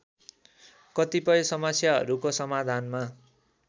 कतिपय समस्याहरूको समाधानमा